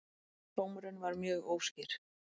Dómarinn var mjög óskýr